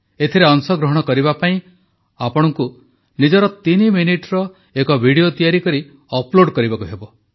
ଏଥିରେ ଅଂଶଗ୍ରହଣ କରିବା ପାଇଁ ଆପଣଙ୍କୁ ନିଜର ତିନି ମିନିଟର ଏକ ଭିଡିଓ ତିଆରି କରି ଅପଲୋଡ଼ କରିବାକୁ ହେବ